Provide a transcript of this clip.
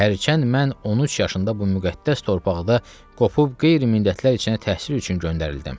Və hərçənd mən 13 yaşında bu müqəddəs torpaqda qopub qeyri-millətlər içinə təhsil üçün göndərildim.